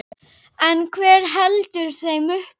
En hver heldur þeim uppi?